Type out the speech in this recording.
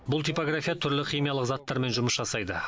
бұл типография түрлі химиялық заттармен жұмыс жасайды